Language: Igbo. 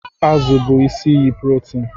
Azụ bụ isi iyi protein